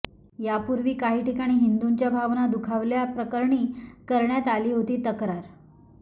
यापूर्वी काही ठिकाणी हिंदूंच्या भावना दुखावल्या प्रकरणी करण्यात आली होती तक्रार